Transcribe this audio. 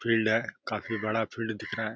Field है। काफी बड़ा फील्ड दिख रहा है।